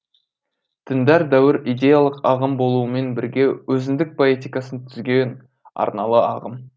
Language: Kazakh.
діндар дәуір идеялық ағым болуымен бірге өзіндік поэтикасын түзген арналы ағым